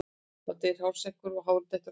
Þá deyr hársekkurinn og hárið dettur af.